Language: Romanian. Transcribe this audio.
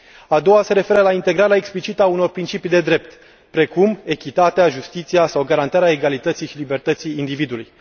A doua se referă la integrarea explicită a unor principii de drept precum echitatea, justiția sau garantarea egalității și libertății individului.